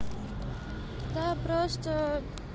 да просто